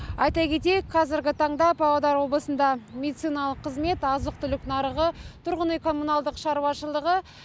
айта кетейік қазіргі таңда павлодар облысында медициналық қызмет азық түлік нарығы тұрғын үй коммуналдық шаруашылығы